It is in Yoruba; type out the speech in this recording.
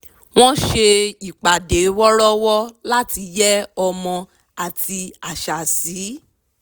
wọ́n ṣe ìpàdé wọ̀rọ́wọ́ láti yẹ́ ọmọ àti àṣà sí